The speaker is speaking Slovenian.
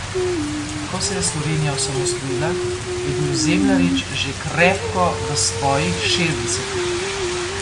Ko se je Slovenija osamosvojila, je bil Zemljarič že krepko v svojih šestdesetih.